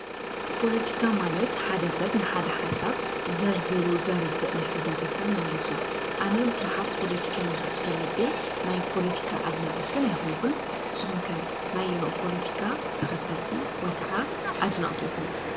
ፖለቲካ ማለት ሓደ ሰብ ንሓደ ሓሳብ ዘርዝሪ ዘርድእ ንሕብረተሰብ ማለት እዩ። ኣነ ብዙሓት ፖለቲከኛታት ይፈልጥ እየ። ናይ ፖለቲካ እድናቂት ኣይኮንኩን። ንስኩም ከ ናይ ኣየንኡ ፖለቲካ ተከተልቲ ወይከዓ ኣድነቅቲ ኢኩም?